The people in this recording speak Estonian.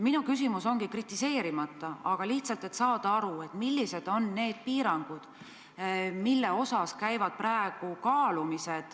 Minu küsimus on ilma kriitikata, lihtsalt tahaks aru saada, millised on need piirangud, mida praegu kaalutakse.